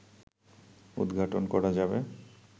উদঘাটন করা যাবে